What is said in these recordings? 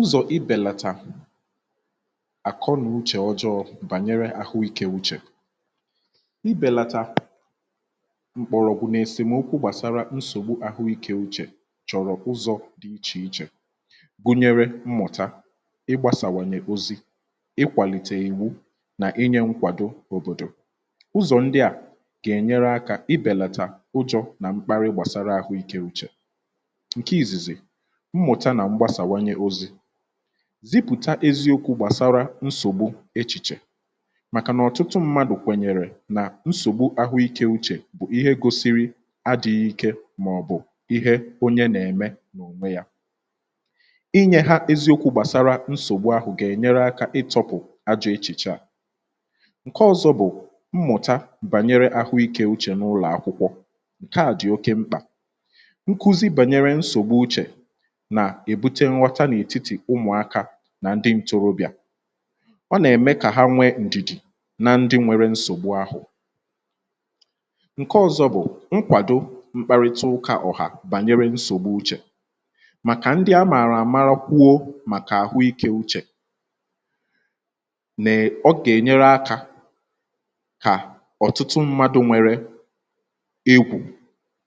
ụzọ̀ ibèlàtà àkọnauchè ọjọọ̇ bànyere àhụ ikė uchè ibèlàtà mkpọrọ̀ kwù um nà-esèmokwu gbàsara nsògbu àhụ ikė uchè chọ̀rọ̀ ụzọ̇ dị ichè ichè gụnyere mmụ̀ta um ịgbȧsàwànyè ozi ịkwàlìtè iwu nà inyė nkwàdo òbòdò ụzọ̀ ndị à gà-enyere akȧ ibelata ụjọ̇ um nà mkpara ịgbȧsara àhụ ikė uchè zipụ̀ta eziokwụ̇ gbàsara nsògbu echìchè màkà nà ọ̀tụtụ mmadụ̀ kwènyèrè um nà nsògbu ahụ̀ ike uchè bụ̀ ihe gosiri adị̇ghị̇ ike màọ̀bụ̀ ihe onye nà-ème n’ònwe yȧ um inyėhȧ eziokwụ̇ gbàsara nsògbu ahụ̀ gà-ènyere akȧ ịtọ̇pụ̀ ajọ̇ echìchè à ǹke ọ̇zọ̇ bụ̀ mmụ̀ta bànyere ahụ̀ ike uchè n’ụlọ̀ akwụkwọ̇ ǹke à dị̀ oke mkpà um nà èbute nghọta n’ètitì ụmụ̀akȧ nà ndị m tụrụbị̀à ọ nà ème kà ha nwee ǹdìdì na ndị nwere nsògbu ahụ̇ ǹke ọ̇zọ̇ bụ̀ nkwàdo mkpàrịta ụka ọ̀hàà um bànyere nsògbu uchè màkà ndị amàrà àmara kwuo màkà àhụikė uchè nè um ọ gà-ènyere akȧ kà ọ̀tụtụ mmadụ̇ nwere egwù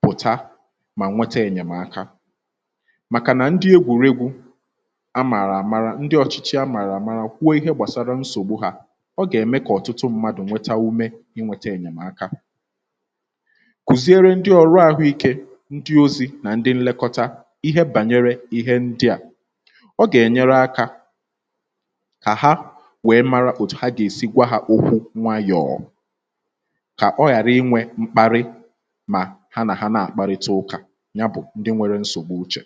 pụ̀ta mà nwete ènyèmaka a màààrà àmara, ndị ọ̀chịchị a màààrà àmara kwuo ihe gbàsara nsògbu hȧ ọ gà-ème kà ọ̀tụtụ ṁmȧdụ̀ nweta ume um ị nwėtȧ ènyèmaka kùziere ndị ọ̀rụ àhụ ikė ndị ozi̇ nà ndị nlekọta ihe bànyere ihe ndị̇ à um ọ gà-ènyere akȧ kà ha nwèe mara ha gà-èsi gwa hȧ okwu̇ nwayọ̀ọ kà ọ ghàra inwė mkparị um mà ha nà ha na-àkparịta ụkà ya bụ̀ ndị nwėrė nsògbu uchè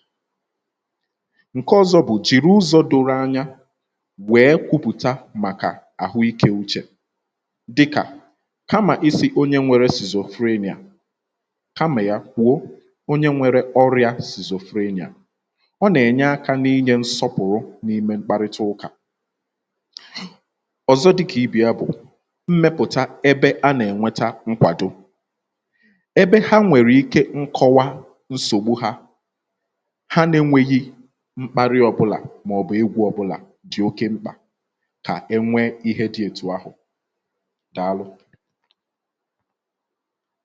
ǹke ọzọ bụ̀ jìrì ụzọ doro anyanwèe kwupùta màkà àhụ ikė uchè dịkà kamà isì onye nwere sìzò frenia um kamà ya kwụ̀ọ onye nwere oriȧ sìzò frenia ọ nà-ènye akȧ n’inyė nsọpụ̀rụ n’ime mkparịta ụkà ọ̀zọ dịkà ibì ya bụ̀ mmepụ̀ta ebe a nà-ènweta nkwàdo ebe ha nwèrè ike nkọwa nsògbu ha mkparị ọbụlà maọ̀bụ̀ ịgwụ̇ ọbụlà dị̀ oke mkpà kà enwee ihe dị̇ ètù ahụ̀ dàalụ.